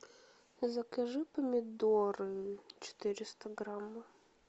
закажи помидоры четыреста грамм